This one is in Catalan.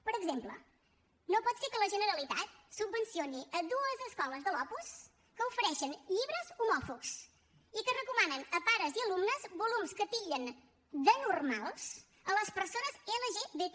per exemple no pot ser que la generalitat subvencioni dues escoles de l’opus que ofereixen llibres homòfobs i que recomanen a pares i alumnes volums que titllen d’anormals les persones lgbti